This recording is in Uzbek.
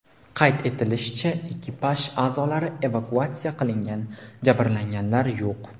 Qayd etilishicha, ekipaj a’zolari evakuatsiya qilingan, jabrlanganlar yo‘q.